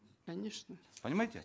конечно понимаете